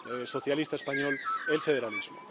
socialista español—, el federalismo.